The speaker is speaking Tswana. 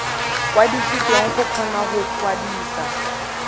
kwadisitswe go kgona go kwadisa